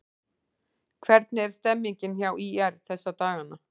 Hvernig er stemmningin hjá ÍR þessa dagana?